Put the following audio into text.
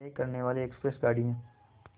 तय करने वाली एक्सप्रेस गाड़ी है